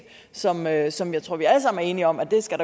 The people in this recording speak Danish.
som jeg som jeg tror vi alle sammen er enige om der skal